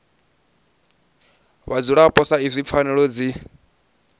vhadzulapo sa izwi pfanelo dzi